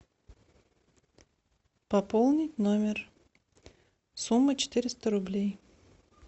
пополнить номер сумма четыреста рублей